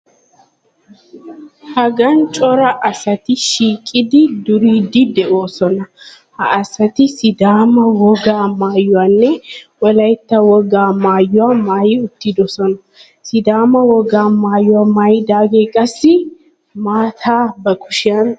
Hagan cora asati shiiqidi duriiddi de'oosona. Ha asati Sidaama wogaa maayuwanne Wolaytta wogaa maayuwa maayi uttidoosona. Sidaama wogaa maayuwa maayidaagee qassi maata ba kushiyan oyqqiis.